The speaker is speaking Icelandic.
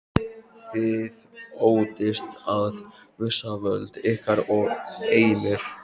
Þið óttist að missa völd ykkar og eignir.